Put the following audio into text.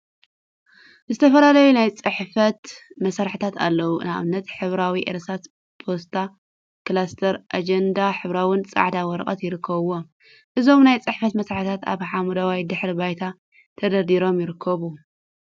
ዝተፈላለዩ ናይ ፅሕፈት መሳርሒታት አለው። ንአብነት ሕብራዊ እርሳስ፣ ፖስታ፣ ክላሰር፣ አጀንዳ፣ ሕብራዊን ፃዕዳን ወረቀት ይርከቡዎም። እዞም ናይ ፅሕፈት መሳርሒታት አብ ሓመደዋይ ድሕረ ባይታ ተደርዲሮም ይርከቡ።